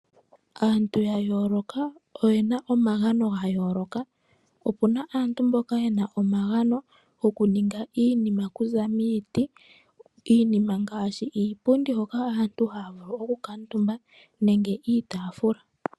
Aantu yayooloka oyena omagano gayooloka. Opuna aantu yena omagano gokuninga iinima okuza miiti ngaashi iipundi yoku kuutumbwa nosho wo iitaafula.